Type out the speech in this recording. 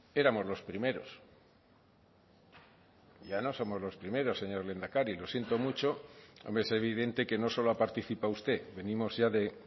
éramos los primeros ya no somos los primeros señor lehendakari lo siento mucho hombre es evidente que no solo ha participado usted venimos ya de